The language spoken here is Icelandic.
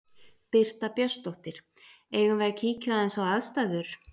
Birta Björnsdóttir: Eigum við að kíkja aðeins á aðstæður?